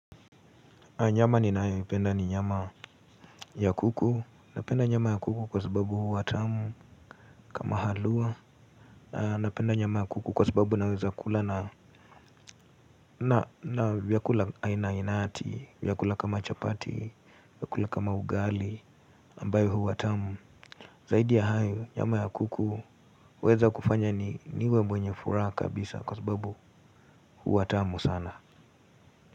Nyama ninayoipenda ni nyama ya kuku, napenda nyama ya kuku kwa sababu huwa tamu kama halua. Na napenda nyama ya kuku kwa sababu naweza kula na vyakula aina ainati, vyakula kama chapati, vyakula kama ugali ambayo huwa tamu. Zaidi ya hayo nyama ya kuku huweza kufanya niwe mwenye furaha kabisa kwa sababu huwa tamu sana.